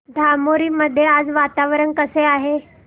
धामोरी मध्ये आज वातावरण कसे आहे